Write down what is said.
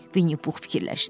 Winnie Puh fikirləşdi.